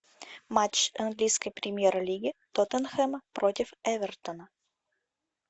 матч английской премьер лиги тоттенхэм против эвертона